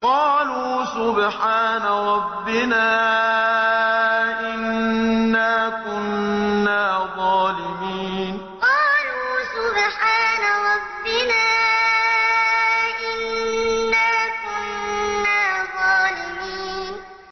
قَالُوا سُبْحَانَ رَبِّنَا إِنَّا كُنَّا ظَالِمِينَ قَالُوا سُبْحَانَ رَبِّنَا إِنَّا كُنَّا ظَالِمِينَ